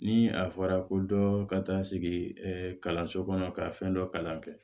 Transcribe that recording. Ni a fɔra ko dɔ ka taa sigi kalanso kɔnɔ ka fɛn dɔ kalan kɛ